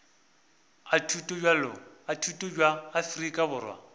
a thuto bja afrika borwa